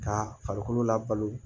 Ka farikolo labalo